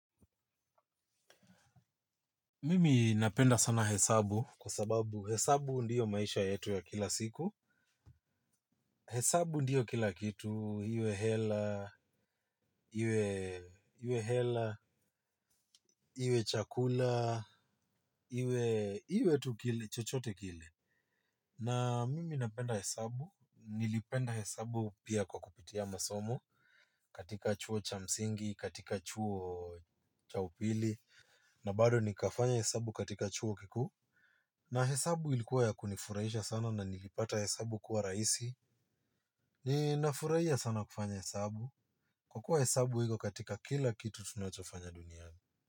Mimi napenda sana hesabu, kwa sababu hesabu ndio maisha yetu ya kila siku. Hesabu ndiyo kila kitu, iwe hela, iwe hela, iwe chakula, iwe chochote kile. Na mimi napenda hesabu, nilipenda hesabu pia kwa kupitia masomo, katika chuo cha msingi, katika chuo cha upili, na bado nikafanya hesabu katika chuo kikuu. Na hesabu ilikuwa ya kunifurahisha sana na nilipata hesabu kuwa rahisi. Ninafurahia sana kufanya hesabu. Kwa kuwa hesabu iko katika kila kitu tunachofanya duniani.